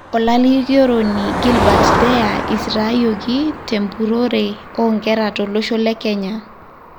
Olalikioroni Gilbert Deya isitayioki tempurore oo nkera tolosho le Kenya.